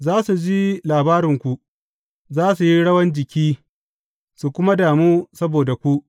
Za su ji labarinku, za su yi rawan jiki, su kuma damu saboda ku.